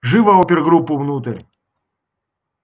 живо опергруппу внутрь